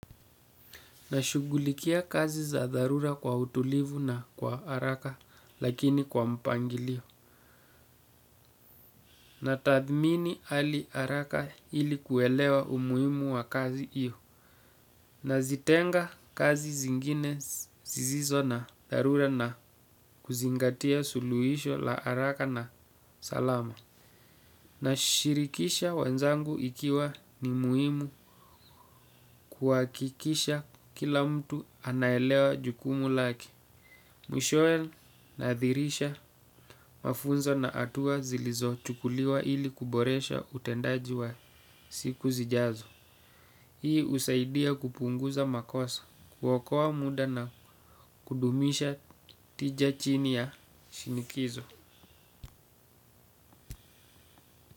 Nashugulikia kazi za dharura kwa utulivu na kwa haraka lakini kwa mpangilio. Na tathmini hali haraka ili kuelewa umuhimu wa kazi hiyo. Nazitenga kazi zingine zisizo na dharura na kuzingatia suluhisho la haraka na salama. Nashirikisha wenzangu ikiwa ni muhimu kuhakikisha kila mtu anaelewa jukumu lake. Mwishowe naadhirisha mafunzo na hatua zilizochukuliwa ili kuboresha utendaji wa siku zijazo. Hii husaidia kupunguza makosa kuokoa muda na kudumisha tija chini ya shinikizo.